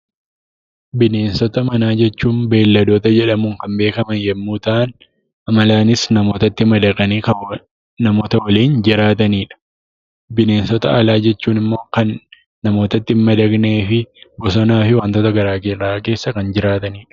Bineensota manaa jechuun Beelladoota jedhamuun kan beekaman yommuu ta'an; amalaanis namootatti madaqanii kan namoota waliin jiraatanidha. Bineensota alaa jechuun immoo kan namootatti hin madaqneefi bosonaa fi wantoota gara garaa keessa kan jiraatanidha.